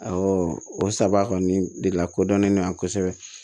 o saba kɔni de lakodɔnnen don yan kosɛbɛ